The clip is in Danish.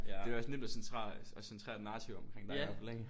Det er jo også nemt at at centrere et narrativ omkring dig i hvert fald ikke?